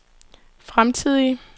fremtidige